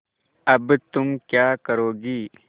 अब तुम क्या करोगी